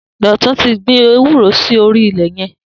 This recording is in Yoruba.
Dotun ti gbin éwùró si óri ilẹ yẹn